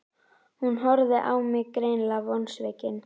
Hún horfði á mig, greinilega vonsvikin.